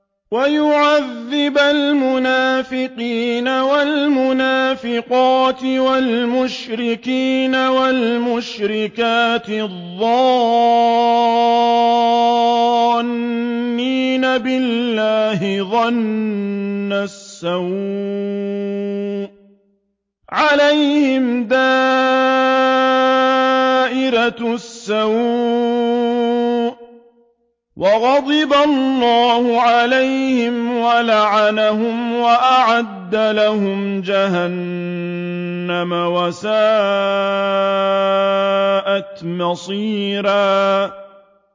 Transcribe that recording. وَيُعَذِّبَ الْمُنَافِقِينَ وَالْمُنَافِقَاتِ وَالْمُشْرِكِينَ وَالْمُشْرِكَاتِ الظَّانِّينَ بِاللَّهِ ظَنَّ السَّوْءِ ۚ عَلَيْهِمْ دَائِرَةُ السَّوْءِ ۖ وَغَضِبَ اللَّهُ عَلَيْهِمْ وَلَعَنَهُمْ وَأَعَدَّ لَهُمْ جَهَنَّمَ ۖ وَسَاءَتْ مَصِيرًا